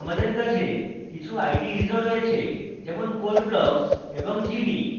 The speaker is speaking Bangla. আমাদের কাছে কিছু ides ও রয়েছে যেমন code blocks এবং geany